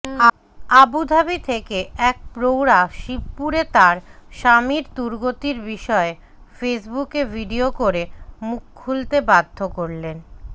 Abu Dhabi থেকে এক প্রৌঢ়া শিবপুরে তাঁর স্বামীর দুর্গতির বিষয়ে ফেসবুকে ভিডিয়ো করে মুখ খুলতে বাধ্য